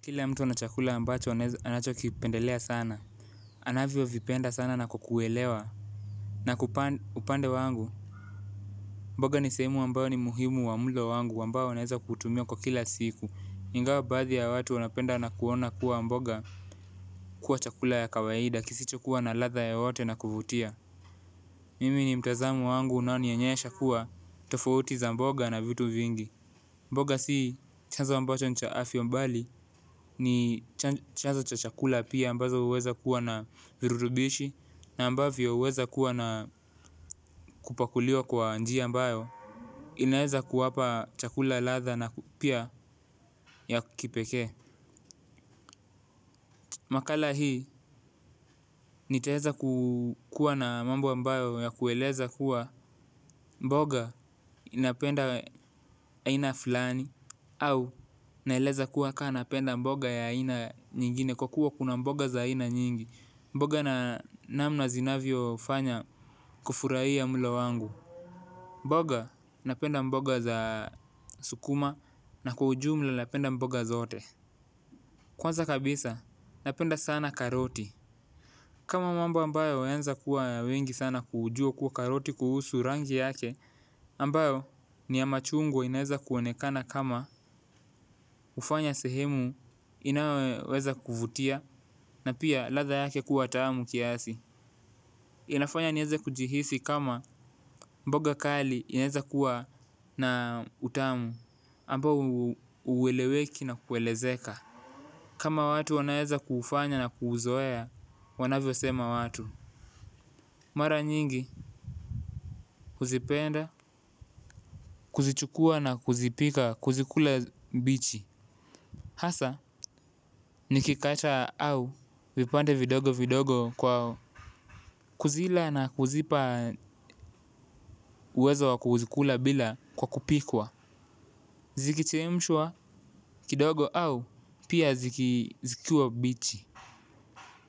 Kila mtu ana chakula ambacho anacho kipendelea sana, anavyo vipenda sana na kukuelewa. Na upande wangu, mboga ni sehemu ambayo ni muhimu wa mlo wangu ambayo naeza kutumia kwa kila siku. Ingawa baathi ya watu wanapenda na kuona kuwa mboga kuwa chakula ya kawaida kisicho kuwa na ladha yoyote na kuvutia Mimi ni mtazamo wangu unao nionyesha kuwa tofauti za mboga na vitu vingi. Mboga si chanzo ambacho ni cha afya mbali ni chanzo cha chakula pia ambazo huweza kuwa na virutubishi na ambavyo huweza kuwa na kupakuliwa kwa njia ambayo inaeza kuwapa chakula ladha na pia ya kipekee. Makala hii nitaeza kuwa na mambo ambayo ya kueleza kuwa mboga inapenda aina fulani au naeleza kuwa kaa napenda mboga ya aina nyingine kwa kuwa kuna mboga za aina nyingi, mboga na namna zinavyo fanya kufurahia mlo wangu. Mboga napenda mboga za sukuma na kwa ujumla napenda mboga zote kwanza kabisa napenda sana karoti kama mambo ambayo yameanza kuwa mengi sana kujua kuwa karoti kuhusu rangi yake ambayo ni ya machugwa inaeza kuonekanab kama hufanya sehemu inayoweza kuvutia na pia ladha yake kuwa tamu kiasi. Inafanya nieze kujihisi kama mboga kali inaeza kuwa na utamu ambayo hueleweki na kuelezeka. Kama watu wanaeza kuufanya na kuuzoea wanavyo sema watu. Mara nyingi huzipenda kuzichukua na kuzipika, kuzikula mbichi. Hasa, nikikata au vipande vidogo vidogo kwa kuzila na kuzipa uwezo wa kuzikula bila kwa kupikwa. Zikichemshwa kidogo au pia zikiwa mbichi.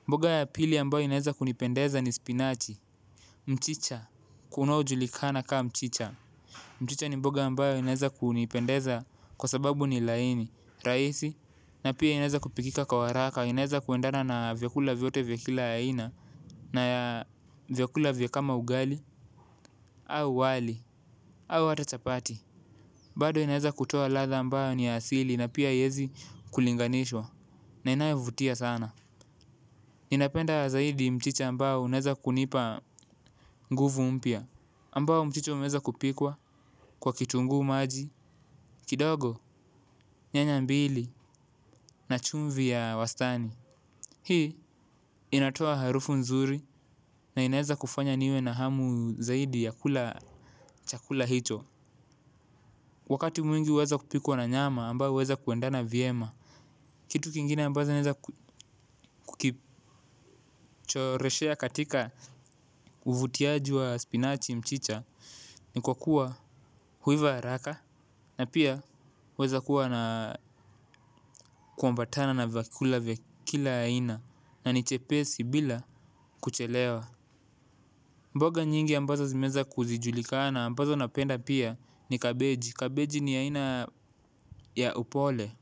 Mboga ya pili ambayo inaweza kunipendeza ni spinachi. Mchicha, kunao julikana kama mchicha. Mchicha ni mboga ambayo inaweza kunipendeza kwa sababu ni laini, rahisi. Na pia inaeza kupikika kwa haraka, inaeza kwendana na vyakula vyote vya kila aina. Na vyakula vya kama ugali au wali au hata chapati. Bado inaeza kutoa ladha ambayo ni ya asili na pia haiezi kulinganishwa na inayovutia sana ninapenda zaidi mchicha ambao unaeza kunipa nguvu mpya. Ambao mchicha umeweza kupikwa kwa kitungu maji, kidogo, nyanya mbili na chumvi ya wastani hii inatoa harufu nzuri na inaweza kufanya niwe na hamu zaidi ya kula chakula hicho. Wakati mwingi huweza kupikwa na nyama ambayo huweza kuendana vyema. Kitu kingine ambazo naweza choreshea katika uvutiaji wa spinachi, mchicha na kwa kuwa huiva haraka na pia huweza kuambatana na vyakula vya kila aina na ni chepesi bila kuchelewa. Mboga nyingi ambazo zimeweza kuzijulikana ambazo napenda pia ni kabeji. Kabeji ni aina ya upole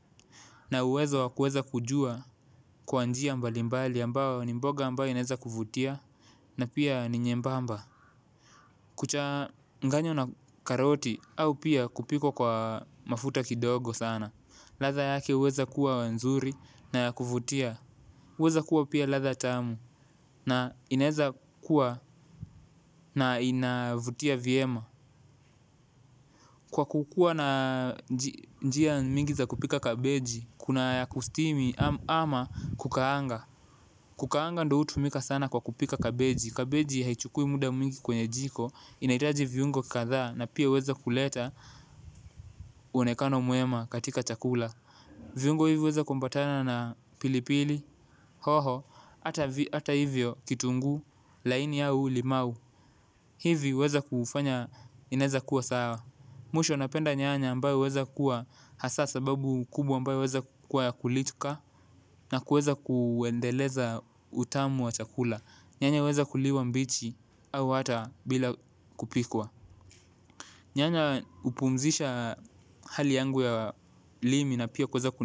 na uwezo wa kuweza kujua kwa njia mbalimbali ambao ni mboga ambayo ineweza kuvutia na pia ni nyembamba. Kuchanganywa na karoti au pia kupikwa kwa mafuta kidogo sana ladha yake huweza kuwa nzuri na ya kuvutia. Weza kuwa pia ladha tamu na ineza kuwa na inavutia vyema. Kwa kukuwa na njia mingi za kupika kabeji, kuna ya kustimu ama kukaanga. Kukaanga ndo hutumika sana kwa kupika kabeji, kabeji haichukui muda mwingi kwenye jiko inahitaji viungo kadhaa na pia huweza kuleta muonekano mwema katika chakula viungo hivyo huweza kuambatana na pilipili hoho hata hivyo kitunguu laini au limau hivi huweza kuufanya inaeza kuwa sawa. Mwisho napenda nyanya ambayo huweza kuwa hasa sababu kubwa ambayo huweza kuwa ya kulituka na kueza kuendeleza utamu wa chakula, nyanya huweza kuliwa mbichi au hata bila kupikwa. Nyanya hupumzisha hali yangu ya ulimi na pia kuweza.